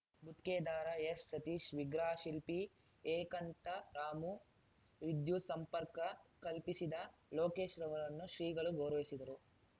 ಗುತ್ಗೆದಾರ ಎಸ್‌ಸತೀಶ್‌ ವಿಗ್ರಹ ಶಿಲ್ಪಿ ಏಕಾಂತರಾಮು ವಿದ್ಯುತ್‌ ಸಂಪರ್ಕ ಕಲ್ಪಿಸಿದ ಲೋಕೇಶ್‌ರವರನ್ನು ಶ್ರೀಗಳು ಗೌರವಿಸಿದರು